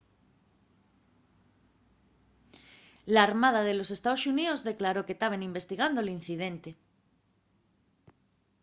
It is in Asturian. l'armada de los ee.xx declaró que taben investigando l'incidente